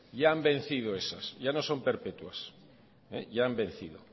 ya han vencido esas ya no son perpetuas ya han vencido